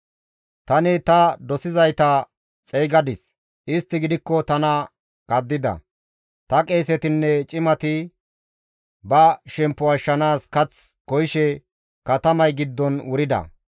Tani ta dosizayta xeygadis; istti gidikko tana kaddida; ta qeesetinne cimati ba shemppo ashshanaas kath koyishe katamay giddon wurida.